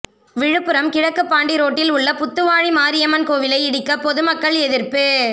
விழுப்புரம் கிழக்குபாண்டி ரோட்டில் உள்ள புத்துவாழி மாரியம்மன் கோயிலை இடிக்க பொதுமக்கள் எதிர்ப்பு